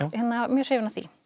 mjög hrifin af því